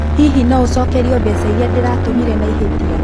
Hihi no ũcokerio mbeca iria ndatũmire na ihĩtia?